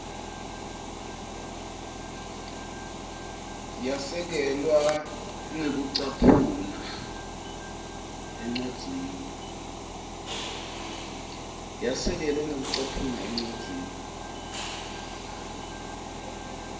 yasekelwa ngekucaphuna encwadzini